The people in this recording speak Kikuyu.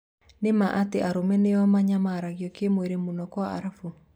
Nĩmaa atĩ arũme nĩo manyamaragio kĩmwĩri mũno Kwa-Arabu ?